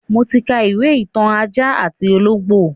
Mo ti ka ìwé ìtàn ajá àti ológbò